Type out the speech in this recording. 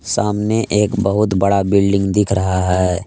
सामने एक बहुत बड़ा बिल्डिंग दिख रहा है।